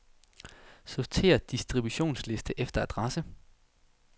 Sortér distributionsliste efter adresse.